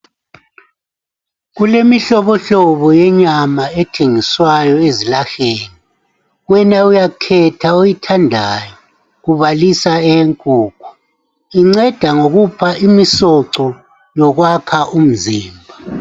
Kulemihlobohlobo yenyama ethengiswayo ezilaheni wena uyakhetha oyithandayo, kubalisa eyenkukhu, inceda ngokupha imisoco yokwakha imizimba.